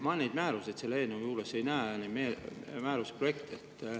Ma neid määruseid selle eelnõu juures ei näe, neid määruse projekte.